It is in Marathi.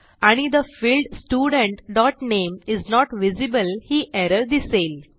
आणि the field student dot name is not visible ही एरर दिसेल